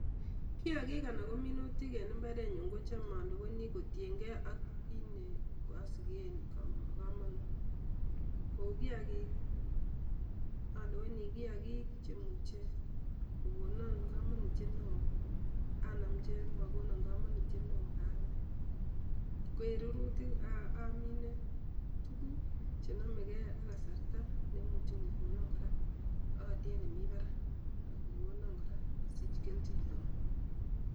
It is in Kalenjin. Kiyakik anan kominutik en imbarenyun kicham olewenii kotiengee ak kiit neosiken komonut, kou kiyakik olewenii kiyaik kotiyengee che imuche kokonon komonutiyet neo anam chemokonon komonutyet neo aalde, ko en rurutik omine tukuk chenomegee ak kasarta nemuche kokonon koraa olyet nemii barak ak kokonon koraa osich kelchin neo.